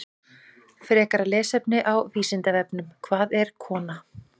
Frekara lesefni á Vísindavefnum: Hvað er kona?